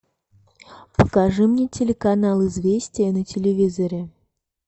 покажи мне телеканал известия на телевизоре